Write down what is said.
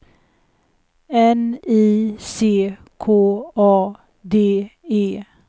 N I C K A D E